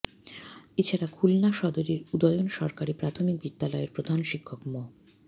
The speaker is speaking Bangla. এ ছাড়া খুলনা সদরের উদয়ন সরকারি প্রাথমিক বিদ্যালয়ের প্রধান শিক্ষক মো